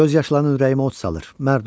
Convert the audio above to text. Göz yaşların ürəyimə od salır, mərd ol!